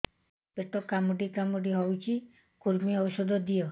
ପେଟ କାମୁଡି କାମୁଡି ହଉଚି କୂର୍ମୀ ଔଷଧ ଦିଅ